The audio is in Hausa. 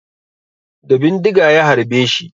Da bindiga ya harbeshi